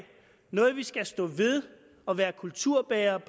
noget vi skal stå ved og være kulturbærere